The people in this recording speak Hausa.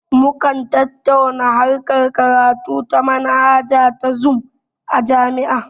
Mukan tattauna harkar karatu ta manhaja ta zum a jami'a